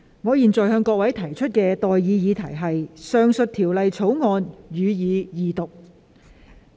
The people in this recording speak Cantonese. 我現在向各位提出的待議議題是：《2021年稅務條例草案》，予以二讀。